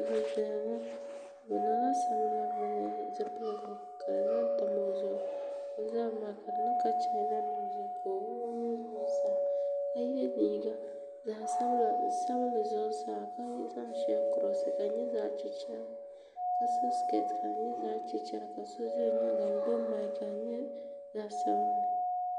Bi niŋ la salima zipiligu ka bi zaŋ tam o zuɣu o zabiri maa ka di niŋ ka chaana nim maa ka o wuɣi o nuhi Zuɣusaa ka yiɛ liiga zaɣi sabinli Zuɣusaa ka zaŋ shɛli n kurosi ka di nyɛ zaɣi chichɛrigu ka so sikɛti ka di yɛ zaɣi chichɛriguka so zi p yɛanga ka gbubi maiki ka di yɛ zaɣi sabinli.